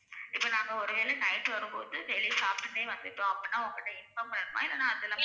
இப்ப நாங்க ஒரு வேல night வரும்போது வெளில சாப்டுட்டே வந்துட்டோம் அப்படினா உங்க கிட்ட inform பண்ணணுமா இல்லனா